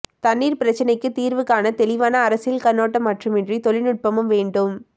தண்ணீர் பிரச்னைக்கு தீர்வு காண தெளிவான அரசியல் கண்ணோட்டம் மட்டுமின்றி தொழில்நுட்பமும் வேண்டும்